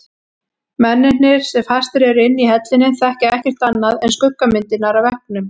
Mennirnir sem fastir eru inni í hellinum þekkja ekkert annað en skuggamyndirnar á veggnum.